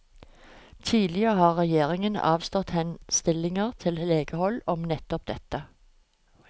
Tidligere har regjeringen avslått henstillinger fra legehold om nettopp dette.